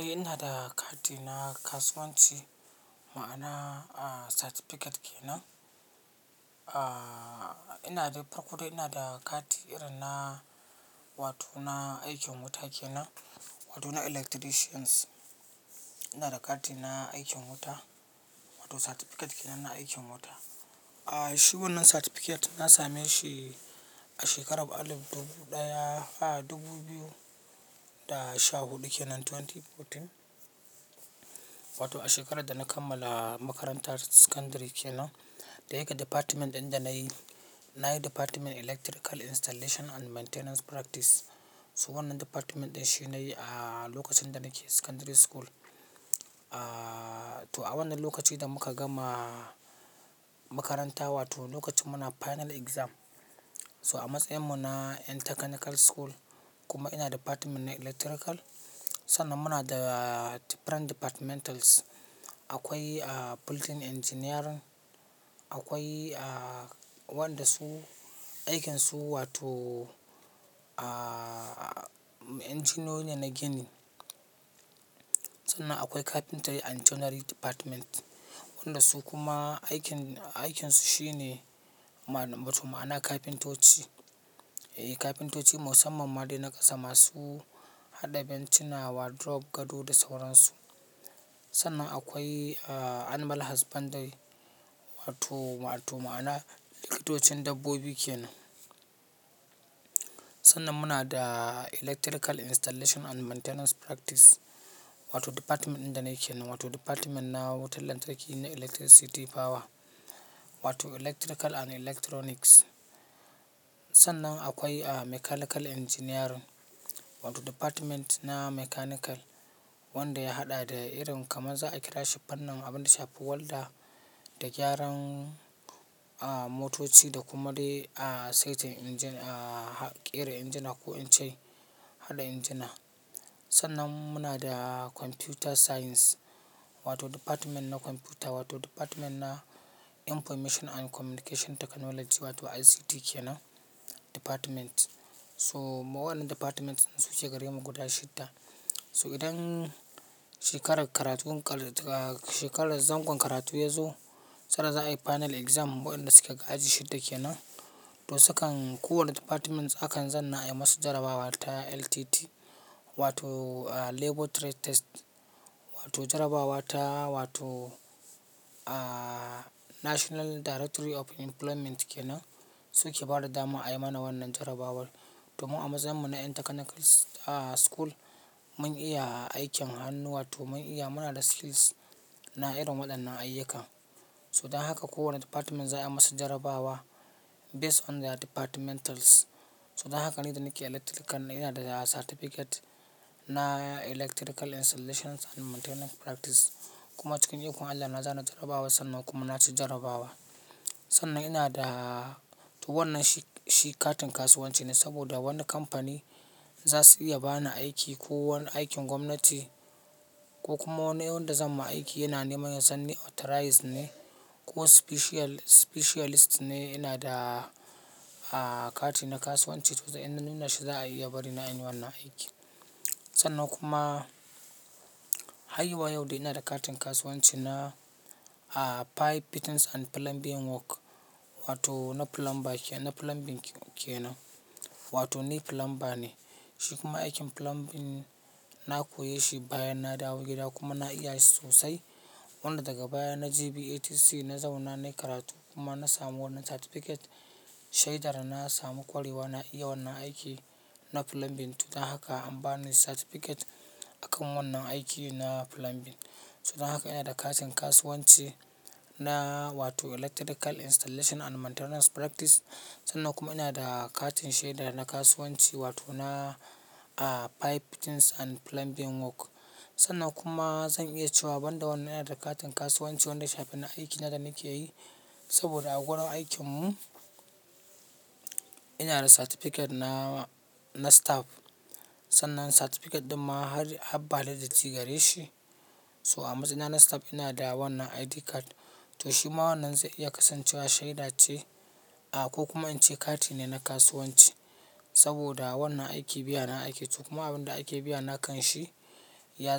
Eh ina da kati na kasuwanci ma'ana certificate kenan. Aaa, ina da farko dai ina da kati irin na wato na aikin wuta kenan, wato na electricians. Ina da kati na aikin wuta wato certificate kenan na aikin wuta. Aaa, shi wannan certificate na same shi a shekarar alif dubu ɗaya a dubu biyu da sha huɗu kenan twenty fourteen. Wato a shekarar da na kammala makarantar secondary kenan da yake department ɗin da nayi, nayi department electrical installation and maintenance practice. So wannan department ɗin shi nayi a lokacin da nake secondary school. Aaa, to a wannan lokaci da muka gama makaranta wato lokacin muna final exam. So a matsayin mu na in technical school kuma ina department na electrical. Sannan muna da different departmentals. Akwai a building engineering, akwai a wanda su aikinsu wato aaa, engineion ne na gini. Sannan akwai carpentry and joinery department, wanda su kuma aikin, aikinsu shine ma-matuk ma'ana kafintoci. Eh kafintoci musamman ma dai na ƙasa masu haɗa bencina wa drawer, gado da sauransu. Sannan akwai a animal husbandry wato, wato ma'ana likitocin dabbobi kena. Sannan muna da electrical installation and maintenance practice wato department ɗin da nake nan wato department na wutar lantarki na electricity power wato electrical and electronics. Sannan akwai a mechanical engineering wato department na mechanical wanda ya haɗa da irin kamar za a kira shi fannin abin da shafi walda da gyaran a motoci da kuma dai a saitin engine a ƙera injina a ko in ce haɗa injina. Sannan muna da computer science wato department na computer wato department na information and communication technology wato ICT kenan department. So mu wannan departments suke gare mu guda shidda. So idan shekarar karatun kal, shekarar zangon karatu ya zo sannan za a yi final exam waɗanda suke aji shidda kena. To su kan kowane department akan zanna a yi masu jarabawa ta LTT wato a labor trade test wato jarabawa ta wato aaa, national directory of employment kenan su ke ba da damar a yi mana wannan jarabawar. Domin a matsayin mu na in technical a school mun iya a aikin hannu wato mun iya muna da skills na irin waɗannan ayyuka. So dan haka kowane department za a yi musu jarabawa based on their departmentals. So dan haka ni da nake electrical na ina da certificate na electrical installations and maintenance practice. Kuma cikin ikon Allah na zana jarabawa sannan kuma na ci jarabawar. Sannan ina da to wannan shi, shi katin kasuwanci ne saboda wani kamfani za su iya ba ni aiki ko wani aikin gwamnati ko kuma wani wanda zan ma aiki yana neman ya san ni authorized ne ko specialist, specialist ne ina da a kati na kasuwanci. To sai in nuna shi za a iya bari na in yi wannan aikin. Sannan kuma har zuwa yau dai ina da katin kasuwanci na a pipe fittings and plumbing work wato na plumber kenan plumbing kenan wato ni plumber ne. Shi kuma aikin plumbing na koya shi bayan na dawo gida kuma na iya shi sosai. Wanda daga baya na je be ATC na zauna nayi karatu kuma na samu wannan certificate. Shaidar na samu ƙwarewa na iya wannan aiki na plumbing to dan haka an ba ni certificate a kan wannan aiki na plumbing. So dan haka ina da katin kasuwanci na wato electrical installation and maintenance practice. Sannan kuma ina da katin shaida na kasuwanci wato na a pipe fittings and plumbing work. Sannan kuma zan iya cewa banda wannan ina da katin kasuwanci wanda ya shafi aikina da nake yi. Saboda a gurin aikin mu ina da certificate na, na staff. Sannan certificate ɗin ma har validated gare shi. So a matsayina na staff ina da wannan ID card. To shi ma wannan zai iya kasancewa shaida ce a ko kuma in ce kati ne na kasuwanci. Saboda wannan aiki biya na ake to kuma abin da ake biya na kan shi ya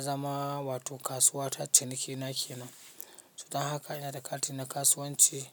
zama wato kasuwa ta ciniki na kena. To dan haka ina da katin na kasuwanci har.